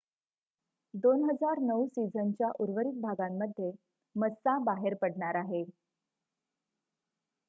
2009 सिझनच्या उर्वरित भागांमध्ये मस्सा बाहेर पडणार आहे